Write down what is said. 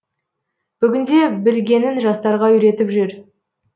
бүгінде білгенін жастарға үйретіп жүр